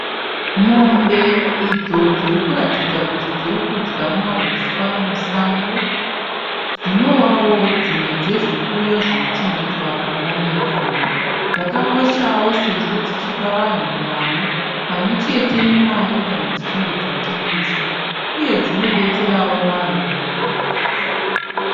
Mombe idzo dziri kuratidza kuti dziri kudya mauswa musango dzinovawo dzimwe dzezvipfuyo zvinochengetwa pamba nevanhu. Dzakakoshawo sezvo dzichipa vanhu nyama pamwe chete nemari kana dzichinge dzatengeswa, uye dzinobetserawo vanhu mamwe mabasa.